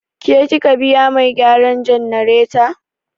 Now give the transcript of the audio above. Ke kika biya mai gyaran jannareta?